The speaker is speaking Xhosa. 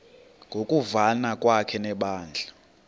ngokuvana kwakhe nebandla